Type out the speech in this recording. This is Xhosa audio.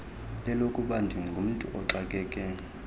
lelokuba ndingumntu oxakeke